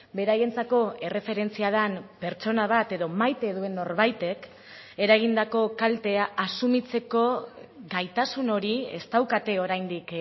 beraientzako erreferentzia den pertsona bat edo maite duen norbaitek eragindako kaltea asumitzeko gaitasun hori ez daukate oraindik